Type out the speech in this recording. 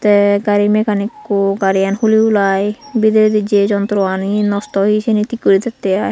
te gari mekanikku gari gan huli huli bidiredi Jay jontro gani nosto oie ciani tik gori dette ai.